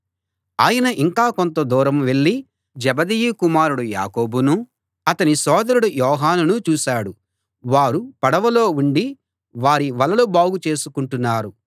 ఆయన ఇంకా కొంతదూరం వెళ్ళి జెబెదయి కుమారుడు యాకోబునూ అతని సోదరుడు యోహానునూ చూశాడు వారు పడవలో ఉండి వారి వలలు బాగు చేసుకుంటున్నారు